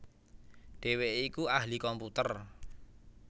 Dhèwèké iku ahli komputer